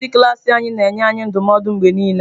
Onye nkuzi klas anyị na-enye anyị ndụmọdụ mgbe niile.